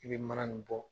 I bɛ mana nin bɔ